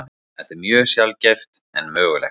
Þetta er mjög sjaldgæft en mögulegt.